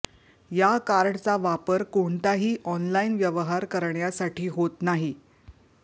या कार्डचा वापर कोणताही ऑनलाईन व्यवहार करण्यासाठी होत नाही